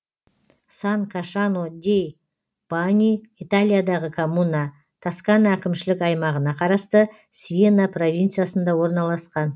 сан кашано дей баньй италиядағы коммуна тоскана әкімшілік аймағына қарасты сиена провинциясында орналасқан